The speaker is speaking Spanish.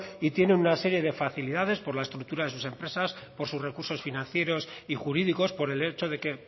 y tiene una serie de facilidades por la estructura de sus empresas por sus recursos financieros y jurídicos por el hecho de que